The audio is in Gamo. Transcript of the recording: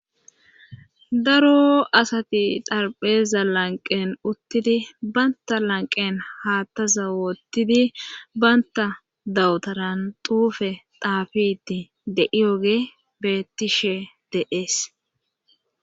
daro asati xarpheeza lanqen uttidi banta lanqen haattaza wottidi banta dawutaran duufe daafidi de7ioge beettishe deees